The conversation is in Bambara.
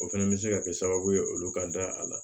O fɛnɛ bɛ se ka kɛ sababu ye olu ka da a la